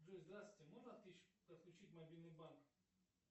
джой здравствуйте можно отключить мобильный банк